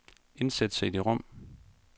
Indsæt cd-rom.